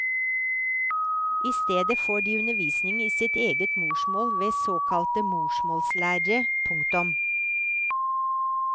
I stedet får de undervisning i sitt eget morsmål ved såkalte morsmålslærere. punktum